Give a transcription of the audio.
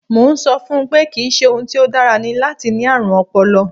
Mo ń sọ fún un pé kì í ṣe ohun tí ó dára ni láti ní ààrùn ọpọlọ